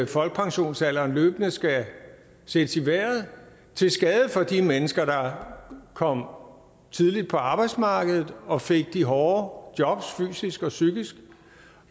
folkepensionsalderen løbende skal sættes i vejret til skade for de mennesker der kom tidligt på arbejdsmarkedet og fik de hårde jobs fysisk og psykisk